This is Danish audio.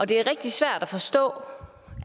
det er rigtig svært at forstå